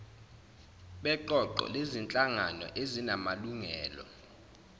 beqoqo lezinhlangano ezinamalungelo